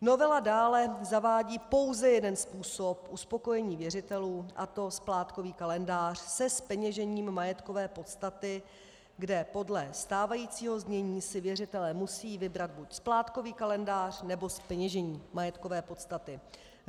Novela dále zavádí pouze jeden způsob uspokojení věřitelů, a to splátkový kalendář se zpeněžením majetkové podstaty, kde podle stávajícího znění si věřitelé musí vybrat buď splátkový kalendář, nebo zpeněžení majetkové podstaty.